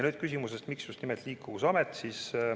Nüüd küsimusest, miks just nimelt Liikuvusamet.